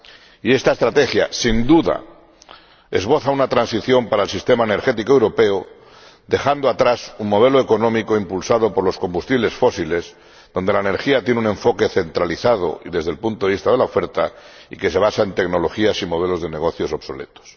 y esta estrategia, sin duda, esboza una transición para el sistema energético europeo, dejando atrás el modelo económico impulsado por los combustibles fósiles, donde la energía tiene un enfoque centralizado desde el punto de vista de la oferta y que se basa en tecnologías y modelos de negocios obsoletos.